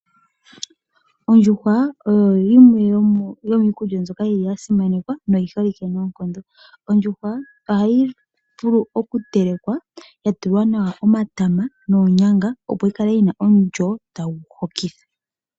Ondjuhwa oyo yimwe yomiikulya mbyoka yili ya simanekwa noyi holike noonkondo. Ondjuhwa ohayi vulu okutelekwa yatulwa nawa omatama noonyanga, opo yikale yina omulyo tagu hokitha.